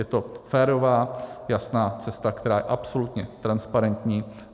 Je to férová jasná cesta, která je absolutně transparentní.